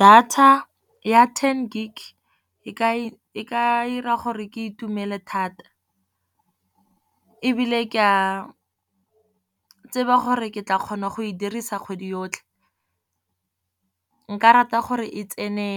Data ya ten gig e ka dira gore ke itumele thata ebile ke a tseba gore ke tla kgona go e dirisa kgwedi yotlhe, nka rata gore e tsene